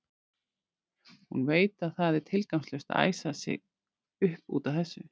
Hún veit að það er tilgangslaust að æsa sig upp út af þessu.